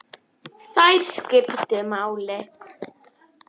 Þær skiptu máli.